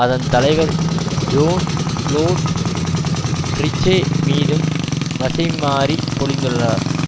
அதன் தலைவர் Jean Claude Trichet மீதும் வசை மாரி பொழிந்துள்ளார்